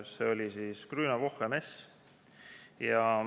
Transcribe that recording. See oli Grüne Woche mess.